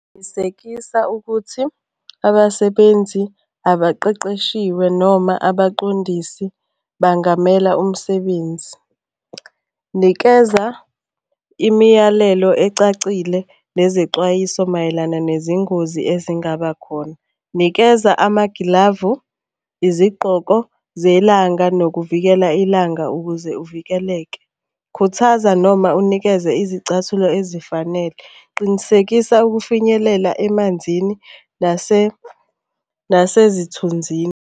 Qinisekisa ukuthi abasebenzi abaqeqeshiwe noma abaqondisi bangamela umsebenzi. Nikeza imiyalelo ecacile nezexwayiso mayelana nezingozi ezingaba khona. Nikeza amagilavu, izigqoko zelanga nokuvikela ilanga ukuze uvikeleke. Khuthaza noma unikeze izicathulo ezifanele. Qinisekisa ukufinyelela emanzini nasezithunzini.